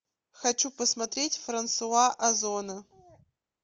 хочу посмотреть франсуа озона